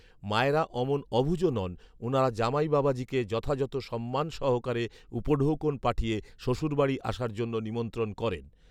মায়েরা অমন অবুঝও নন, উনারা জামাইবাবাজীকে যথাযথ সম্মান সহকারে, উপঢৌকন পাঠিয়ে শ্বশুরবাড়ী আসার জন্য নিমন্ত্রণ করেন